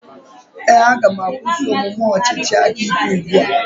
Ee, aga m akwụsị omume ọchịchị aka ike ugbu a.